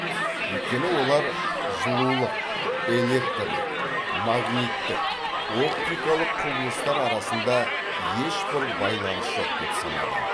өйткені олар жылулық электрлік магниттік оптикалық құбылыстар арасында ешбір байланыс жоқ деп санады